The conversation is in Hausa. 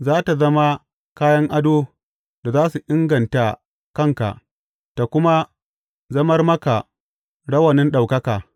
Za tă zama kayan ado da za su inganta kanka tă kuma zamar maka rawanin ɗaukaka.